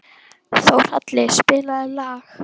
Þórhalli, spilaðu lag.